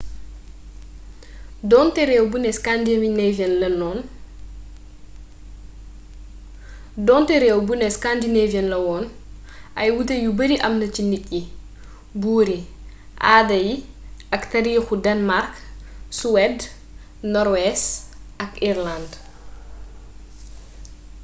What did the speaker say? donté rééw buné scandinavian' lawoon ay wuuté yu bari am na ci nit yi buur yi aada ak taarixu denmark suwed norwees ak irëland